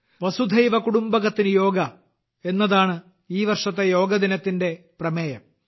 വസുധൈവ കുടുംബകത്തിന് യോഗ എന്നതാണ് ഈ വർഷത്തെ യോഗ ദിനത്തിന്റെ പ്രമേയം